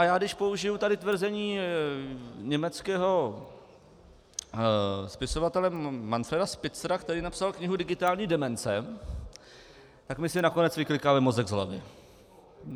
A já když použiji tady tvrzení německého spisovatele Manfreda Spitzera, který napsal knihu Digitální demence, tak by si nakonec vyklikali mozek z hlavy.